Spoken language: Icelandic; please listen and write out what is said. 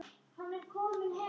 Ég er með það.